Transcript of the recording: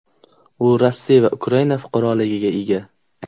U Rossiya va Ukraina fuqaroligiga ega.